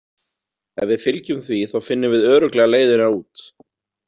Ef við fylgjum því þá finnum við örugglega leiðina út